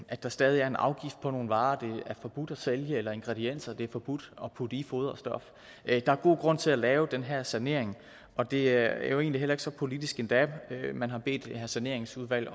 at der stadig er en afgift på nogle varer det er forbudt at sælge eller ingredienser det er forbudt at putte i foderstof der er god grund til at lave den her sanering og det er jo egentlig heller ikke så politisk endda man har bedt det her saneringsudvalg